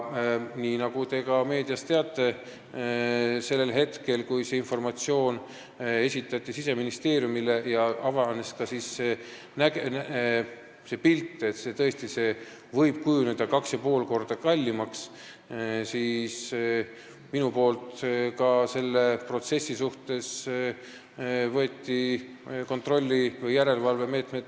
Nii nagu te ka meediast teate, sellel hetkel, kui see informatsioon esitati Siseministeeriumile ja selgus, et ehitus võib kujuneda 2,5 korda kallimaks, võtsin mina selle protsessi suhtes kontrolli- või järelevalvemeetmeid.